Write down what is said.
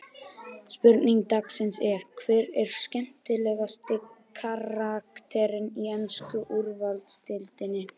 Spurning dagsins er: Hver er skemmtilegasti karakterinn í ensku úrvalsdeildinni?